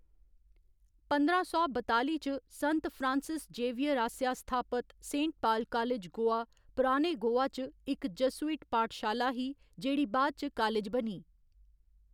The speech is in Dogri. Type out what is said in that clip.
पंदरां सौ बताली च संत फ्रांसिस जेवियर आसेआ स्थापत सेंट पाल कालेज, गोवा, पराने गोवा च इक जसुइट पाठशाला ही जेह्‌‌ड़ी बाद इच कालज बनी।